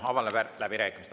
Avan läbirääkimised.